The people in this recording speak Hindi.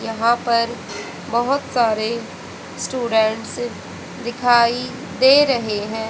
यहां पर बहोत सारे स्टूडेंट्स दिखाई दे रहे हैं।